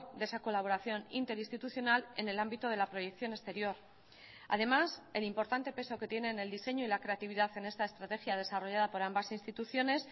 de esa colaboración interinstitucional en el ámbito de la proyección exterior además el importante peso que tienen el diseño y la creatividad en esta estrategia desarrollada por ambas instituciones